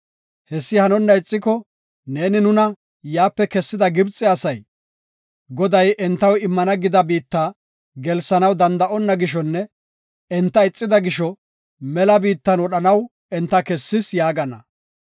Hessi hanonna attiko, neeni nuna yaape kessida Gibxe asay, ‘Goday entaw immana gida biitta gelsanaw danda7iboona gishonne enta ixida gisho, mela biittan wodhanaw enta kessis’ yaagana.